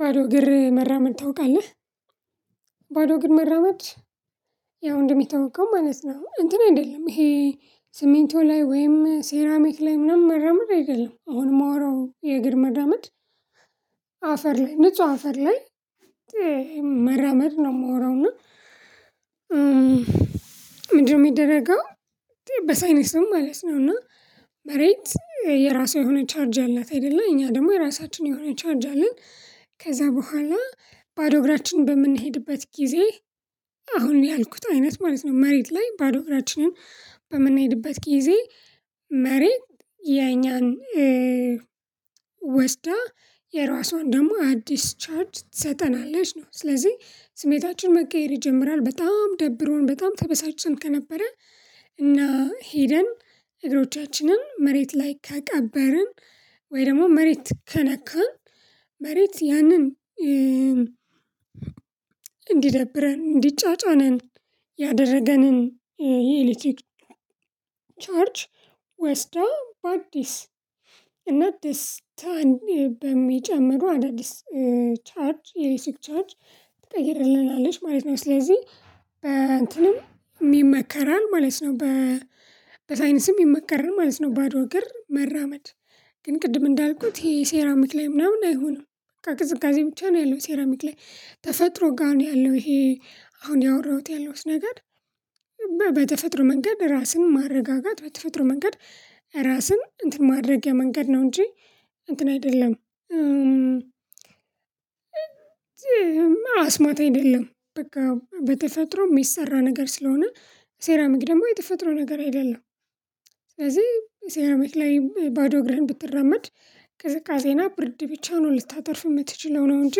ባዶ እግር መራመድ ታውቃለህ ባዶ ግር መራመድ ያው እንደሚታወቀው ማለት ነው። እንትን አይደለም ይሄ ሲሚንቶ ላይ ወይም ሴራሚክ ላይ ምናምን መራመድ አይደለም አሁን የማወራው የእግር መራመድ። አፈር ላይ ንጹህ አፈር ላይ። መረመድ ነው የምወራው እና ምንድነው የሚደረገው? በሳይንስም ማለት ነው። እና መሬት የራሷ የሆነ ቻርጅ አላት አይደለ እኛ ደግሞ የራሳችን የሆነ ቻርጅ አለን። ከዛ በኋላ ባዶ እግራችንን በምንሄድበት ጊዜ አሁን ያልኩት አይነት ማለት ነው መሬት ላይ ባዶ እራችንን በምንሄድበት ጊዜ መሬት የኛን ወስዳ የራሷን ደግሞ አዲስ ቻርጅ ትሰጠናለች ነው። ስለዚህ ስሜታችን መቀየር ይጀምራል በጣም ደብሮን በጣም ተበሳጭን ከነበረ። እና ሄደን እግሮቻችንን መሬት ላይ ከቀበርን ወይ ደግሞ መሬት ከነካን። መሬት ያንን እንዲደብረን እንዲጫጫነን ያደረገንን የኤሌክትሪክ ቻርጅ ወስዳ በአዲስ እና ደስታን በሚጨምሩ አዳዲስ ቻርጅ የኤሌትሪክ ቻርጅ ትቀይርልናለች ማለት ነው። ስለዚህ በእንትንም ይመከራል ማለት ነው በ በሳይንስም ይመከራል ማለት ነው። ባዶ እግር መራመድ ግን ቅድም እንዳልኩት ይሄ ሴራሚክ ላይ ምናምን አይሆንም። ከቅዝቃዜ ብቻ ነው ያለው ሴራሚክ ላይ ተፈጥሮ ጋር ነው ያለው። ይሄ አሁን ያወራሁት ያለውስ ነገር በተፈጥሮ መንገድ ራስን ማረጋጋት በተፈጥሮ መንገድ ራስን እንትን ማድረጊያ መንገድ ነው። እንጂ እንትን አይደለም። አስማት አይደለም። በቃ በተፈጥሮ የሚሰራ ነገር ስለሆነ ሴራሚክ ደግሞ የተፈጥሮ ነገር አይደለም። ሴራሚክ ላይ ባዶ እግርህን ብትራመድ ቅዝቅዜና ብርድ ብቻ ነው ልታተርፍ የምትችለው ነው እንጂ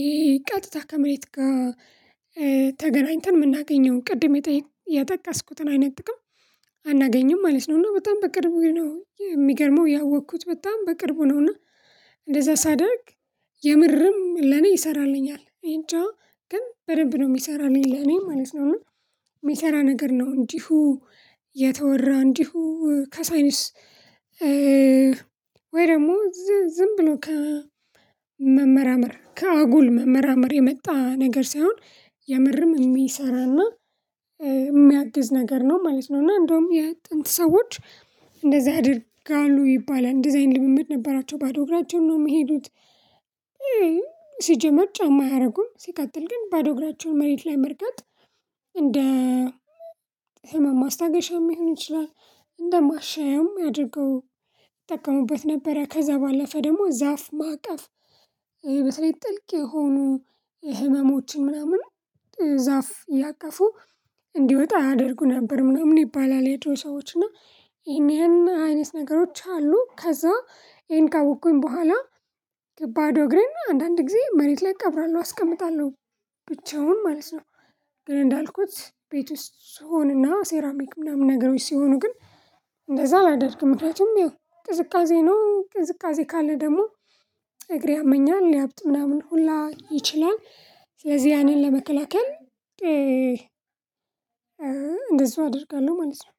ይሄ ቀጥታ ከመሬት ጋር ተገናኝተን የምናገኘው ቅድም የጠቀስኩትን አይነት ጥቅም አናገኝም ማለት ነው። እና በጣም በቅርቡ ነው የሚገርመው ያወቅኩት በጣም በቅርቡ ነው እና እንደዛ ሳደርግ የምርም ለኔ ይሰራልኛል። እኔጃ ግን በደንብ ነው የሚሰራኝ ለኔ ማለት ነው። የሚሰራ ነገር ነው እንዲሁ የተወራ እንዲሁ ከሳይንስ ወይ ደግሞ ዝም ብሎ ከመመራመር ከአጉል መመራመር የመጣ ነገር ሳይሆን የምርም የሚሰራና የሚያግዝ ነገር ነው ማለት ነው። እና እንደውም የጥንት ሰዎች እንደዚህ ያድርጋሉ ይባላል እንደዚህ አይነት ልምምድ ነበራቸው ባዶ እግራቸውን ነው የሚሄዱት። ሲጀመር ጫማ አያደርጉም ሲቀጥል ግን ባዶ እግራቸውን መሬት ላይ መርገጥ እንደ ህመም ማስታገሻም ሊሆን ይችላል እንደ ማሻያም አድርገው ይጠቀሙበት ነበረ። ከዛ ባለፈ ደግሞ ዛፍ ማቀፍ በትልቅ ጥልቅ የሆኑ የህመሞችን ምናምን ዛፍ እያቀፉ እንዲወጣ ያደርጉ ነበር ምናምን ይባላል። የድሮ ሰዎች እና ይሄን ይሄን አይነት ነገሮች አሉ። ከዛ ይሄን ካወቅኩኝ በኋላ ባዶ እግሬን አንዳንድ ጊዜ መሬት ላይ እቀብራለሁ አስቀምጣለሁ ብቻውን ማለት ነው። ግን እንዳልኩት ቤት ውስጥ ስሆንና ሴራሚክ ምናምን ነገሮች ሲሆኑ ግን እንደዛ አላደርግም። ምክንያቱም ያው ቅዝቃዜ ነው ቅዝቃዜ ካለ ደግሞ እግሬ ያመኛል ሊያብጥ ምናምን ሁላ ይችላል። ስለዚህ ያንን ለመከላከል እንደዛው እንደዚህ አደርጋለሁ ማለት ነው።